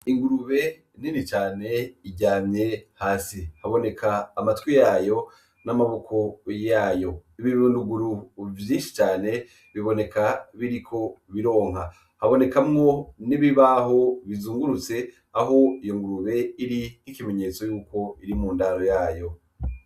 Ingurube neni cane iryamye hasi haboneka amatwi yayo n'amaboko yayo ibibirunduguru vyinshi cane biboneka biriko bironka habonekamwo nibibaho bizungurutse aho iyo ngurube iri n'ikimenyetso yuko iri mu ndaro yayo.